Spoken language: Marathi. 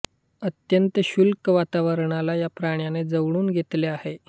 अत्यंत शुष्क वातवरणाला या प्राण्याने जुळवून घेतले आहे